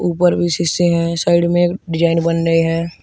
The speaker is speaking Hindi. ऊपर भी शीशे हैं साइड में एक डिजाइन बन रहे हैं।